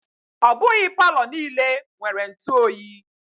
Ọ bụghị Palọ niile nwere ntụ oyi.